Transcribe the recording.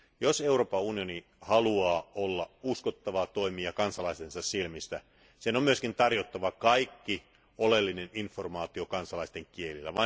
Jos Euroopan unioni haluaa olla uskottava toimija kansalaistensa silmissä, sen on myös tarjottava kaikki oleellinen informaatio kansalaisten kielillä.